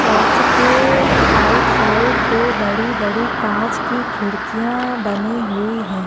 Church के either side दो बड़ी-बड़ी कांच की खिड़किया बनी हुई है।